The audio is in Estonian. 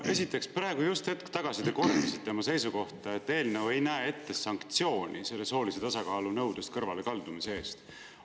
No esiteks, te just hetk tagasi kordasite oma seisukohta, et eelnõu ei näe ette sanktsioone soolise tasakaalu nõudest kõrvalekaldumise eest.